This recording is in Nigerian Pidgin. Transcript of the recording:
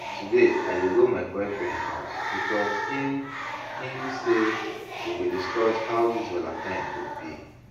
Today I dey go my boyfriend house because im im say we go discuss how dis valentine go be